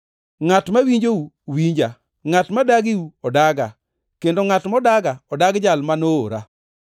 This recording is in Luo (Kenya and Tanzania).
“Ngʼat ma winjou, winja, ngʼat modagiu odaga, kendo ngʼat modaga odagi jal ma noora.”